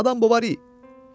Madam Bovari.